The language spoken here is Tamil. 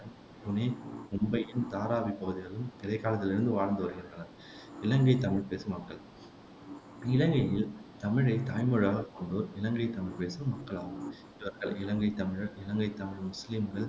புனே, மும்பையின் தாராவி பகுதிகளிலும் இடைக்காலத்திலிருந்தே வாழ்ந்து வருகின்றனர் இலங்கைத் தமிழ்பேசும் மக்கள் இலங்கையில் தமிழைத் தாய்மொழியாகக் கொண்டோர் இலங்கைத் தமிழ்பேசும் மக்கள் ஆவர் இவர்கள் இலங்கைத் தமிழர், இலங்கைத் தமிழ் முசுலீம்கள்